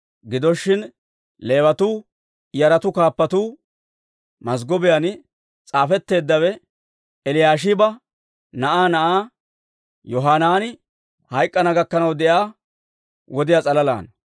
Gido shin, Leewatuu yaratuu kaappatuu mazggobiyaan s'aafetteeddawe Eliyaashiba na'aa na'aa Yohanaani hayk'k'ana gakkanaw de'iyaa wodiyaa s'alalaana.